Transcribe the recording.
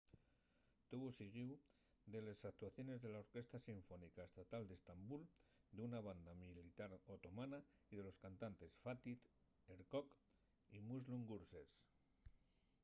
tuvo siguíu de les actuaciones de la orquesta sinfónica estatal d’estambul d’una banda militar otomana y de los cantantes fatih erkoç y müslüm gürses